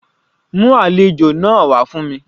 Mú àlejò náà wá fún mi.